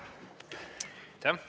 Aitäh!